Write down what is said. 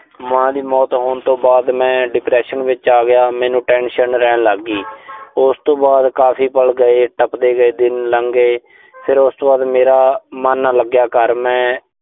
ਮਾਂ ਦੀ ਮੌਤ ਹੋਣ ਤੋਂ ਬਾਅਦ ਮੈਂ depression ਵਿੱਚ ਆ ਗਿਆ। ਮੈਨੂੰ tension ਰਹਿਣ ਲਾਗੀ। ਉਸ ਤੋਂ ਬਾਅਦ ਕਾਫ਼ੀ ਪਲ ਗਏ। ਟੱਪਦੇ ਗਏ, ਦਿਨ ਲੰਘੇ, ਫਿਰ ਉਸ ਤੋਂ ਬਾਅਦ ਮੇਰਾ ਮਨ ਨਾ ਲੱਗਿਆ ਘਰ, ਮੈਂ